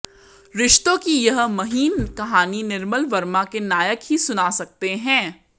रिश्तों की यह महीन कहानी निर्मल वर्मा के नायक ही सुना सकते हैं